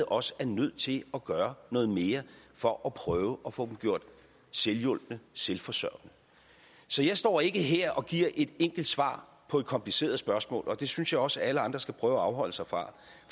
også er nødt til at gøre noget mere for at prøve at få dem gjort selvhjulpne selvforsørgende så jeg står ikke her og giver et enkelt svar på et kompliceret spørgsmål og det synes jeg også at alle andre skal prøve at afholde sig fra